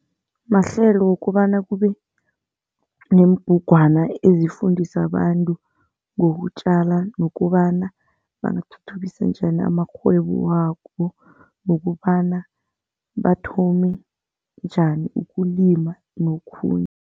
Mahlelo wokobana kube neembugwana ezifundisa abantu ngokutjala nokobana bawathuthukise njani amakghwebo wabo. Nokobana bathome njani ukulima nokhunye.